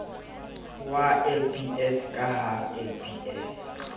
wa lbs ka ha lbs